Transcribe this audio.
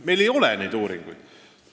Meil ei ole uuringuid.